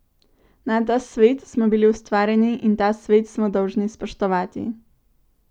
Na ta svet smo bili ustvarjeni in ta svet smo dolžni spoštovati.